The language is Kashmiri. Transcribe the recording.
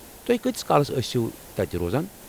تُہۍ كٲتِس كالس ٲسِو تتہِ روزان ؟